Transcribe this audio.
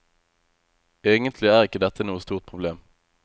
Egentlig er ikke dette noe stort problem.